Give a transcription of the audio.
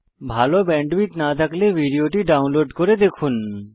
ভাল ব্যান্ডউইডথ না থাকলে ভিডিওটি ডাউনলোড করে দেখুন